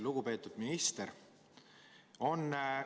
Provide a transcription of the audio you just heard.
Lugupeetud minister!